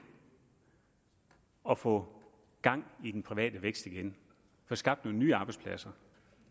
at få gang i den private vækst igen få skabt nogle nye arbejdspladser